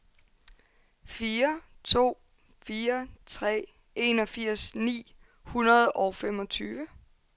fire to fire tre enogfirs ni hundrede og femogtyve